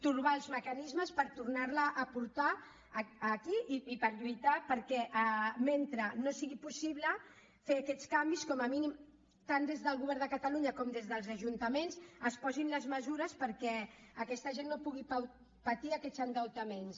trobar els mecanismes per tornarla a portar aquí i per lluitar perquè mentre no sigui possible fer aquests canvis com a mínim tant des del govern de catalunya com des dels ajuntaments es posin les mesures perquè aquesta gent no pugui patir aquests endeutaments